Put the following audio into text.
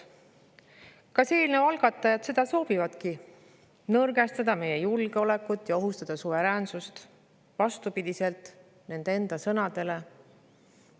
Kas eelnõu algatajad soovivadki nõrgestada meie julgeolekut ja ohustada suveräänsust, vastupidi nende enda sõnadele?